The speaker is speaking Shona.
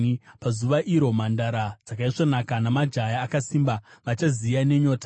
“Pazuva iro, “mhandara dzakaisvonaka namajaya akasimba vachaziya nenyota.